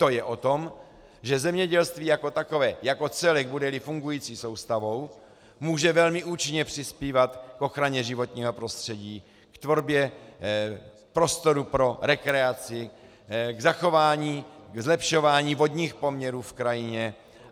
To je o tom, že zemědělství jako takové, jako celek, bude-li fungující soustavou, může velmi účinně přispívat k ochraně životního prostředí, k tvorbě prostoru pro rekreaci, k zachování, k zlepšování vodních poměrů v krajině.